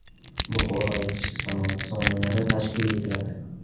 Buxoroda kichik sanoat zonalari tashkil etiladi.